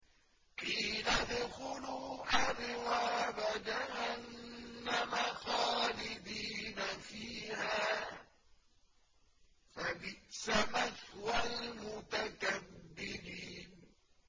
قِيلَ ادْخُلُوا أَبْوَابَ جَهَنَّمَ خَالِدِينَ فِيهَا ۖ فَبِئْسَ مَثْوَى الْمُتَكَبِّرِينَ